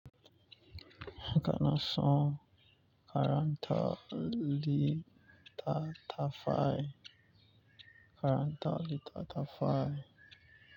Kana son karanta littattafai.